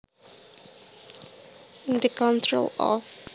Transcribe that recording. In the control of